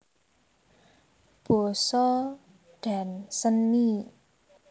Basa dan Seni